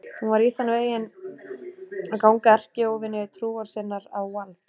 Hún var í þann veginn að ganga erkióvini trúar sinnar á vald.